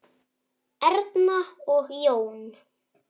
Erna og Jón.